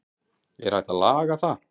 er hægt að laga það